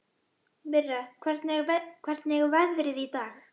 Mirra, hvernig er veðrið í dag?